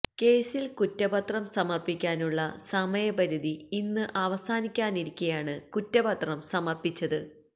കേസില് കുറ്റപത്രം സമര്പ്പിക്കാനുള്ള സമയപരിധി ഇന്ന് അവസാനിക്കാനിരിക്കെയാണ് കുറ്റപത്രം സമര്പ്പിച്ചത്